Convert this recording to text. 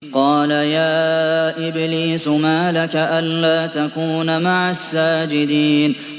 قَالَ يَا إِبْلِيسُ مَا لَكَ أَلَّا تَكُونَ مَعَ السَّاجِدِينَ